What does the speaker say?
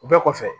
U bɛɛ kɔfɛ